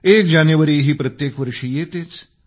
एक जानेवारीही प्रत्येक वर्षी येतेच